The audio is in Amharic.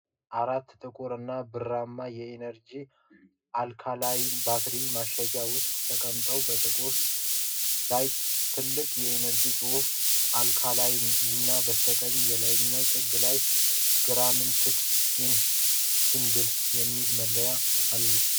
አራት ጥቁር እና ብርማ የኢነርጂዘር አልካላይን ባትሪዎች በማሸጊያ ውስጥ ተቀምጠዋል። በጥቅሉ ላይ ትልቁ የኢነርጂዘር ጽሑፍ፣ "አልካላይን"፣ እና በስተቀኝ የላይኛው ጥግ ላይ "ጋራንትድ ኢን ሲንጋፖር" የሚል መለያ አሉ።